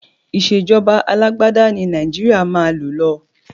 Ìṣèjọba alágbádá ni Nàìjíríà máa lò lọ.